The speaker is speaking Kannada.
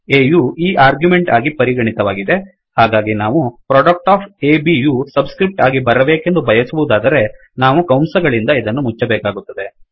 A ಯು ಈ ಆರ್ಗ್ಯುಮೆಂಟ್ ಆಗಿ ಪರಿಗಣಿತವಾಗಿದೆಹಾಗಾಗಿ ನಾವು product of U subscript ಆಗಿ ಬರಬೇಕೆಂದು ಬಯಸುವದಾದರೆ ನಾವು ಕಂಸಗಳಿಂದ ಇವನ್ನು ಮುಚ್ಚಬೇಕಾಗುತ್ತದೆ